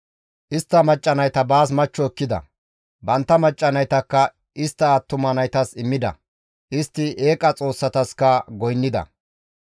Istta macca nayta baas machcho ekkida; bantta macca naytakka istta attuma naytas immida; istta eeqa xoossataska goynnida.